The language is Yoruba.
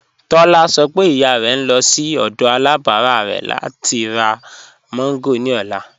Tólá ṣọ̀ pé ìyà rẹ̀ ń lọ̀ sí ọdọ̀ alábárà rẹ̀ láti rá mango ni ọlá